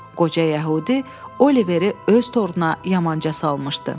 Qoca yəhudi Oliveri öz toruna yamanca salmışdı.